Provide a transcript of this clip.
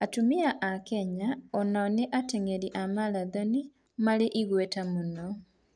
Atumia a Kenya o nao nĩ ateng'eri a maratoni marĩ igweta mũno.